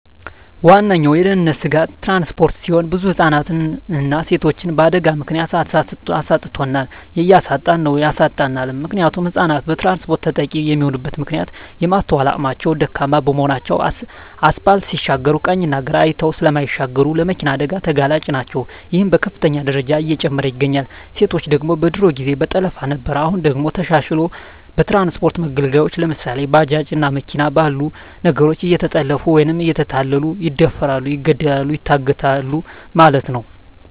ዋነኛዉ የድህንነት ስጋት ትራንስፖርት ሲሆን ብዙ ህፃናትንና ሴቶችን በአደጋ ምክንያት አሳጥቶናል እያሳጣን ነዉ ያሳጣናልም። ምክንያቱም ህፃናት በትራንስፖርት ተጠቂ የሚሆኑበት ምክንያት የማስትዋል አቅማቸዉ ደካማ በመሆናቸዉ አስፓልት ሲሻገሩ ቀኝና ግራ አይተዉ ስለማይሻገሩ ለመኪና አደጋ ተጋላጭ ናቸዉ ይሄም በከፍተኛ ደረጃ እየጨመረ ይገኛል። ሴቶች ደግሞ በድሮ ጊዜ በጠለፋ ነበር አሁን ደግሞ ተሻሽልሎ በትራንስፖርት መገልገያወች ለምሳሌ፦ ባጃጅ እና መኪና ባሉ ነገሮች እየተጠለፊፉ ወይም እየተታለሉ ይደፈራሉ ይገደላሉ ይታገታሉ ማለት ነዉ።